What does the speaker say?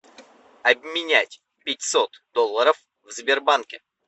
обменять пятьсот долларов в сбербанке